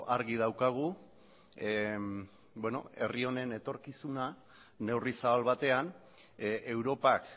argi daukagu herri honen etorkizuna neurri zabal batean europak